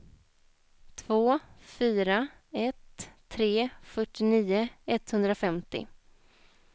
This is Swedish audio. två fyra ett tre fyrtionio etthundrafemtio